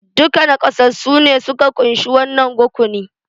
Dukan naƙasassu ne suka kunshi wannan rukuni